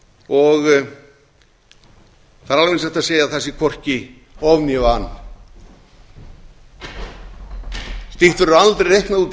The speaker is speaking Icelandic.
og það er alveg eins hægt að segja að það sé hvorki of né van slíkt verður aldrei reiknað út til